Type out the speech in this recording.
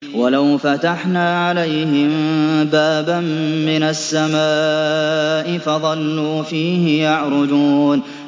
وَلَوْ فَتَحْنَا عَلَيْهِم بَابًا مِّنَ السَّمَاءِ فَظَلُّوا فِيهِ يَعْرُجُونَ